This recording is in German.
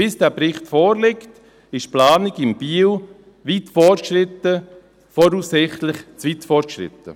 Bis dieser Bericht vorliegt, wird die Planung in Biel weit fortgeschritten sein, voraussichtlich zu weit fortgeschritten.